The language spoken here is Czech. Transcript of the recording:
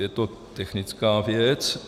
Je to technická věc.